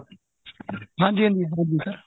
ਹਾਂਜੀ ਹਾਂਜੀ ਹਾਂਜੀ sir